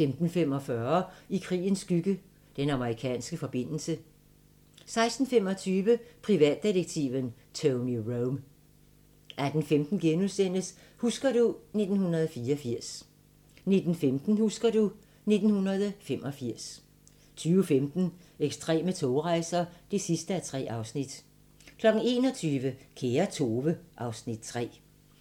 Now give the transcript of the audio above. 15:45: I krigens skygge – Den amerikanske forbindelse 16:25: Privatdetektiven Tony Rome 18:15: Husker du ... 1984 * 19:15: Husker du ... 1985 20:15: Ekstreme togrejser (3:3) 21:00: Kære Tove (Afs. 3)